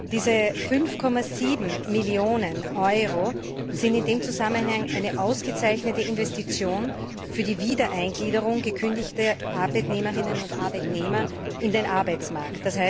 Die 5,7 Millionen Euro sind in dem Zusammenhang eine ausgezeichnete Investition für die Wiedereingliederung gekündigter Arbeitnehmerinnen und Arbeitnehmer in den Arbeitsmarkt.